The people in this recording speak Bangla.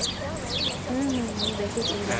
হুম হুম দেখেছি যেমন